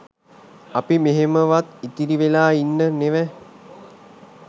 අපි මෙහෙමවත් ඉතිරි වෙලා ඉන්න නෙව